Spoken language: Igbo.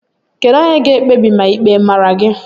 Kedu onye ga-ekpebi ma ịkpe mara gị